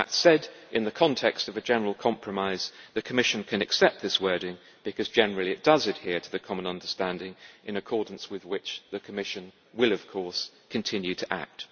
That said, in the context of a general compromise, the Commission can accept this wording because generally it does adhere to the Common Understanding, in accordance with which the Commission will, of course, continue to act.